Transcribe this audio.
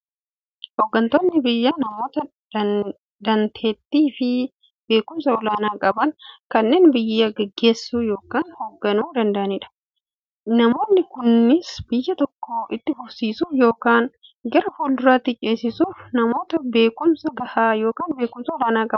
Hooggantoonni biyyaa namoota daanteettiifi beekumsa olaanaa qaban, kanneen biyya gaggeessuu yookiin hoogganuu danda'aniidha. Namoonni kunis, biyya tokko itti fufsiisuuf yookiin gara fuulduraatti ceesisuuf, namoota beekumsa gahaa yookiin beekumsa olaanaa qabaniidha.